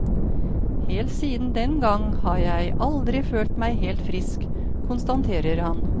Helt siden den gang har jeg aldri følt meg helt frisk, konstaterer han.